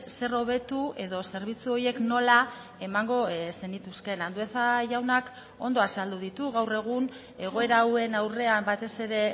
zer hobetu edo zerbitzu horiek nola emango zenituzkeen andueza jaunak ondo azaldu ditu gaur egun egoera hauen aurrean batez ere